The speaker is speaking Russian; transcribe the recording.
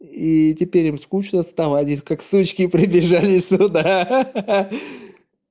и теперь им скучно стало они как сучки прибежали сюда ха-ха